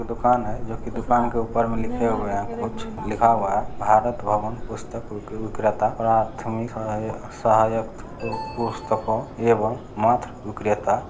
दुकान हाई दुकान के ऊपर कुछ लिखा हुआ है भारत भवन पुस्तक विक- विक्रेता पुस्तको एवं मात्र विक्रेता